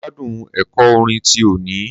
Mo gbádùn ẹ̀kọ́ orin ti òní.